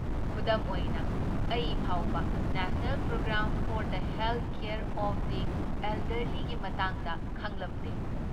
ꯈꯨꯗꯝ ꯑꯣꯏꯅ, ꯑꯩ ꯐꯥꯎꯕ national programme for the health care of the ꯑꯦꯜꯗꯔꯂꯤꯒꯤ ꯃꯇꯥꯡꯗ ꯈꯪꯂꯝꯗꯦ꯫